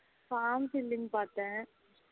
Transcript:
form filling பாத்தேன்